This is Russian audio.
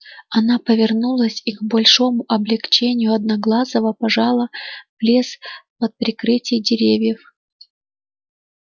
она повернулась и к большому облегчению одноглазого пожала в лес под прикрытие деревьев